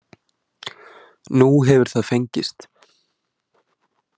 Nú hefur það fengist